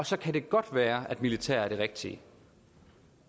så kan det godt være at militær indgriben er det rigtige